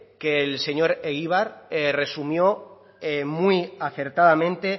que el señor egibar resumió muy acertadamente